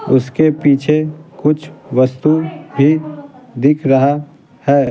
उसके पीछे कुछ वस्तुभी दिख रहा है।